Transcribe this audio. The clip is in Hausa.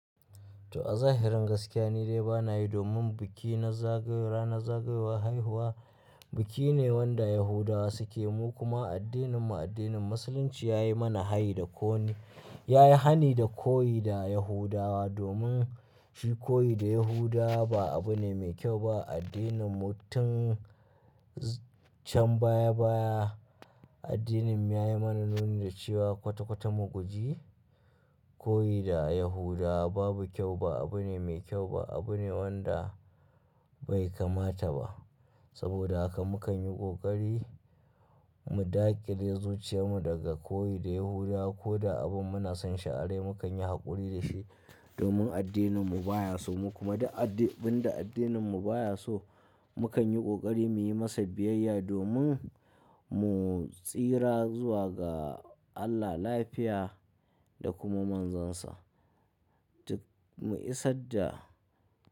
To a zahirin gaskiya ni dai ba na yi domin biki na zagaya, ranar zagayowa haihuwa biki ne wanda Yahudawa suke yi kuma addininmu, addinin Musulunci ya yi mana hayi da ko ne, ya yi hani da koyi da Yahudawa domin koyi da Yahudawa ba abu ne mai kyau ba a addininmu tun can baya baya. Addininmu ya yi mana nuni da cewa kwata-kwata muguji, koyi da Yahudawa babu kyau ba, abu ne mai kyau ba, abu ne wanda bai kamata ba. Saboda haka mu kan yi ƙoƙari mu dakile zuciyarmu daga koyi da Yahudawa ko da abin muna son sha'irai mu kan yi haƙuri da shi domin addininmu baya so. Kuma duk abin da addininmu baya so mu kan yi ƙoƙari mu yi masa biyayya domin mu tsira zuwa ga Allah lafiya da kuma manzansa. Mu isa da.